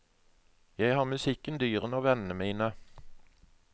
Jeg har musikken, dyrene og vennene mine.